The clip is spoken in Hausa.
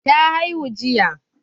Ta haihu jiya.